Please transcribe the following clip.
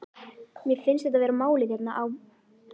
Mér finnst þetta vera málið hérna á